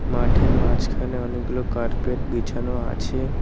মাঠের মাঝখানে অনেকগুলো কার্পেট বিছানো আছে।